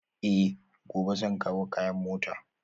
Eh, gobe zan kawo kayan a mota